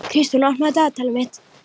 Kristrún, opnaðu dagatalið mitt.